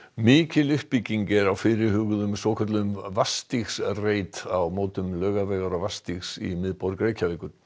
mikil uppbygging er fyrirhuguð á svokölluðum á mótum Laugavegar og í miðborg Reykjavíkur